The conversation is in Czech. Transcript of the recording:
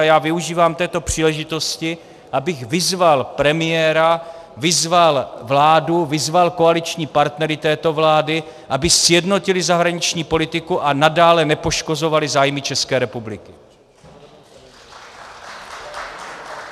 A já využívám této příležitosti, abych vyzval premiéra, vyzval vládu, vyzval koaliční partnery této vlády, aby sjednotili zahraniční politiku a nadále nepoškozovali zájmy České republiky.